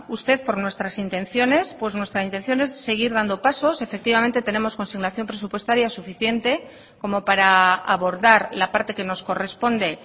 usted por nuestras intenciones pues nuestra intención es seguir dando pasos efectivamente tenemos consignación presupuestaria suficiente como para abordar la parte que nos corresponde